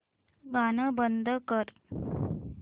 गाणं बंद कर